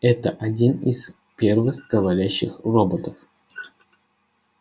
это один из первых говорящих роботов